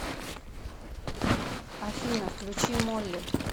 афина включи молли